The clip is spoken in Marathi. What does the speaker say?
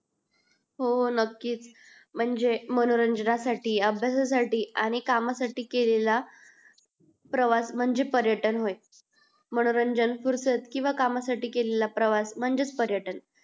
हो नक्की च म्हणजे मनोरंजना साठी अभ्यासा साठी कामा साठी केलेला प्रवास म्हणजे पर्यटन होय मनोरंजन फुरसत किव्हा कामा साठी केलेला प्रवास म्हणजे च पर्यटन